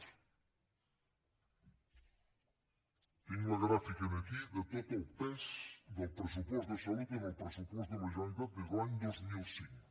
tinc la gràfica aquí de tot el pes del pressupost de salut en el pressupost de la generalitat des de l’any dos mil cinc